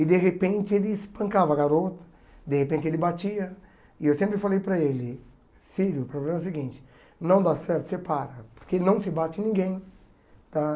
E de repente ele espancava a garota, de repente ele batia, e eu sempre falei para ele, filho, o problema é o seguinte, não dá certo, você para, porque não se bate ninguém, tá?